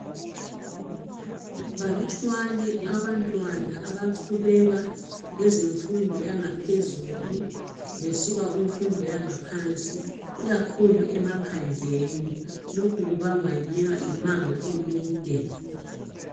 Balutshwane abantwana abaqhubeka ngezemfundo yangaphezulu besuka kumfundo yangaphansi ikakhulu emaphandleni lokhu kubangwa yimango emide